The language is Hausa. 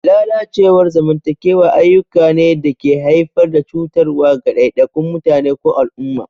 Lalacewar zamantakewa ayyuka ne da ke haifar da cutarwa ga ɗaiɗaikun mutane ko al'umma.